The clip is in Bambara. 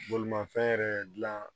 Bolimafɛn yɛrɛ dilan